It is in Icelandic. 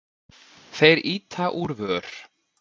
Þeir ýta úr vör.